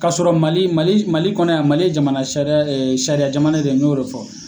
K'a sɔrɔ Mali Mali Mali kɔnɔ yan Mali ye jamana sari e sariya jamana de y'o de fɔ.